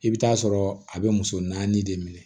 I bɛ taa sɔrɔ a bɛ muso naani de minɛ